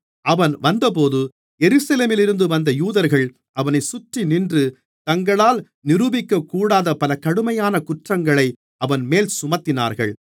அவன் வந்தபோது எருசலேமிலிருந்து வந்த யூதர்கள் அவனைச் சுற்றிநின்று தங்களால் நிரூபிக்கக்கூடாத பல கடுமையான குற்றங்களை அவன்மேல் சுமத்தினார்கள்